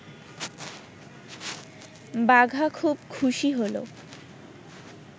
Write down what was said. বাঘা খুব খুশি হল